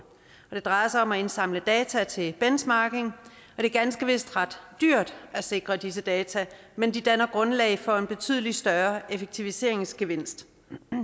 det drejer sig om at indsamle data til benchmarking det er ganske vist ret dyrt at sikre disse data men de danner grundlag for en betydelig større effektiviseringsgevinst